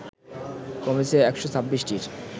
কমেছে ১২৬টির